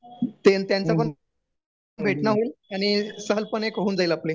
ते अन त्यांचं पण भेटणं होईल आणि सहल पण एक होऊन जाईल आपली